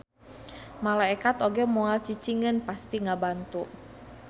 Malaekat oge moal cicingeun pasti ngabantu.